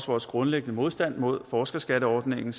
vores grundlæggende modstand mod forskerskatteordningen